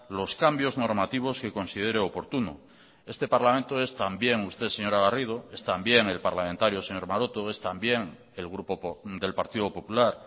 los cambios normativos que considere oportuno este parlamento es también usted señora garrido es también el parlamentario señor maroto es también el grupo del partido popular